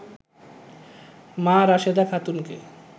মা রাশেদা খাতুনকে